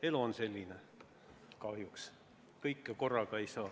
Elu on selline kahjuks, kõike korraga ei saa.